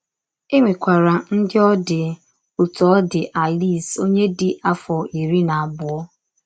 E nwekwara ndị ọ dị otú ọ dị Alice, ọnye dị afọ iri na abụọ.